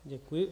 Děkuji.